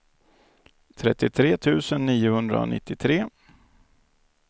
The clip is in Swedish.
trettiotre tusen niohundranittiotre